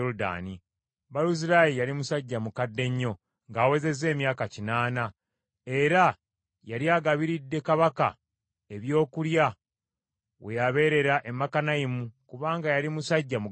Baluzirayi yali musajja mukadde nnyo, ng’awezezza emyaka kinaana, era yali agabiridde kabaka ebyokulya we yabeerera e Makanayimu kubanga yali musajja mugagga nnyo.